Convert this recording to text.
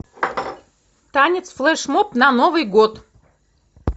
танец флешмоб на новый год